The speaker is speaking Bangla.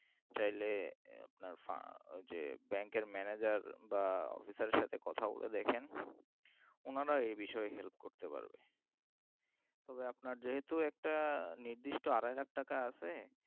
চাইলে আপনার আহ যে bank এর manager বা officer সাথে কথা বলে দেখেন ওনারা এ বিষয়ে help করতে পারবেন তবে আপনার যেহেতু একটা নির্দিষ্ট আড়াই লাখ টাকা আছে